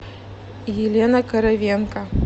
елена коровенко